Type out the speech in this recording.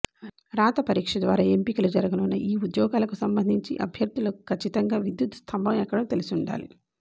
రాతపరీక్ష ద్వారా ఎంపికలు జరగనున్న ఈ ఉద్యోగాలకు సంబంధించి అభ్యర్థులకు కచ్చితంగా విద్యుత్ స్తంభం ఎక్కడం తెలుసుండాలి